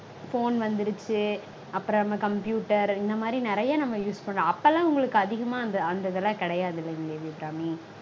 Phone வந்துருச்சு. அப்பறம் நம்ம computer இந்த மாதிரி நெறைய நம்ம use பண்றோம். அப்போலாம் உங்களுக்கு அதிகமா அந்த அந்த இதெல்லாம் கெடையாதுல்லங்க தேவி அபிராமி